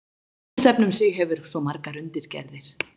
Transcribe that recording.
Hver tónlistarstefna um sig hefur svo margar undirgerðir.